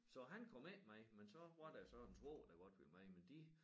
Så han kom ikke med men så var der så en svoger der godt ville med men de